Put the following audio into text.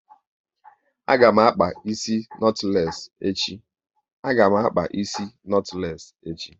Ee, a ga m akpa isi notules echi